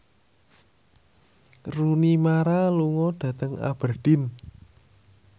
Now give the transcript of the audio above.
Rooney Mara lunga dhateng Aberdeen